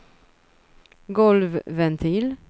golvventil